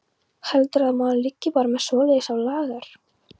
Heldurðu að maður liggi bara með svoleiðis á lager.